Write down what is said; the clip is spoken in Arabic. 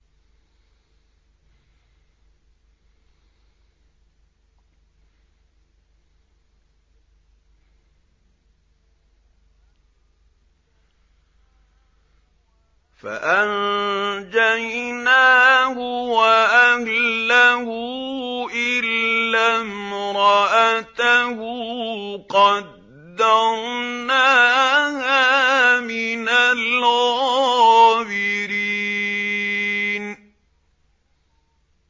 فَأَنجَيْنَاهُ وَأَهْلَهُ إِلَّا امْرَأَتَهُ قَدَّرْنَاهَا مِنَ الْغَابِرِينَ